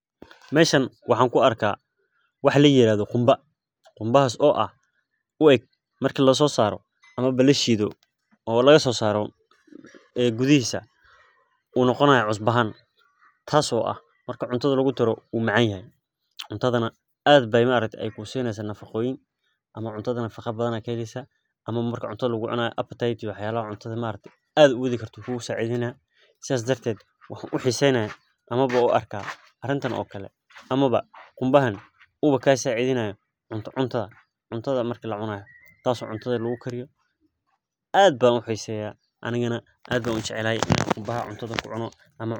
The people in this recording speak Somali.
Meshan waxan kuarkaa wax layirado qumba qumbahas oo ah, ueeg marki lasoo saroo amaba lashiidho oo laga soosaro gudhihiisa u noqo nahaayo cusbo ahaan taas oo ah marki cuntadha lugu daroo uu macan yahay, cuntadhana aad bay maaragti kuusini nafaqaoyiin ama cuntadha nafaqa badhan ba kaheleysa ama marki cuntadha lugu cunaaya, appetite iyo wax yala cuntadha maaragti aad uwadhi karto ayu kugu saacidheyna. Saas darted waxan uxiseey naya amaba u arka ariinta okala amaba qumbahaan uwaa kaa sacidheyna cunta cuntadha maarki lacunahay, taas oo cuntadha lagukariyo aad baan uxiiseya anina aad baan ujecelahaay ina qumba cuntadha kucuuna.